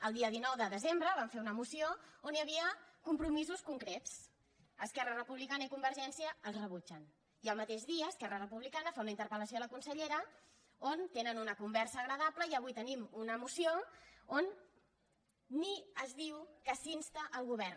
el dia dinou de desembre vam fer una moció on hi havia compromisos concrets esquerra republicana i convergència els rebutgen i al mateix dia esquerra republicana fa una interpelnen una conversa agradable i avui tenim una moció on ni es diu que s’insta el govern